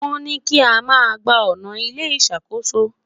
wón ní i kí ama gbà ọnà ilé ìṣàkóso